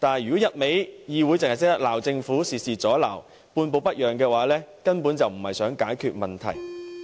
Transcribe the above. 如果議會只懂得指責政府，事事阻撓、半步不讓，根本就並非想要解決問題。